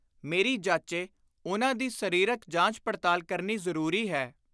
ਮੇਰੀ ਜਾਚੇ ਉਨ੍ਹਾਂ ਦੀ ਸਰੀਰਕ ਜਾਂਚ-ਪੜਤਾਲ ਕਰਨੀ ਜ਼ਰੂਰੀ ਹੈ।